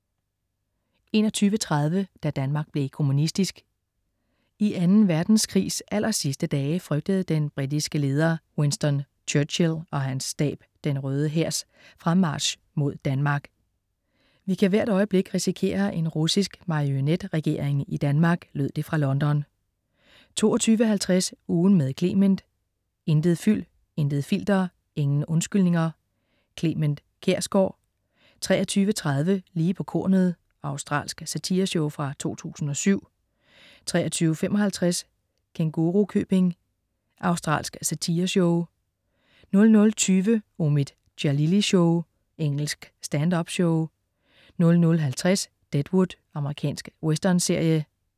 21.30 Da Danmark blev kommunistisk. I Anden Verdenskrigs allersidste dage frygtede den britiske leder Winston Churchill og hans stab Den Røde Hærs fremmarch mod Danmark. "Vi kan hvert øjeblik risikere en russisk marionetregering i Danmark," lød det fra London 22.50 Ugen med Clement. Intet fyld, intet filter, ingen undskyldninger. Clement Kjersgaard 23.30 Lige på kornet. Australsk satireshow fra 2007 23.55 Kængurukøbing. Australsk satireserie 00.20 Omid Djalili Show. Engelsk stand-up-show 00.50 Deadwood. Amerikansk westernserie